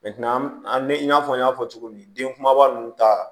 an bɛ i n'a fɔ n y'a fɔ cogo min den kumaba ninnu ta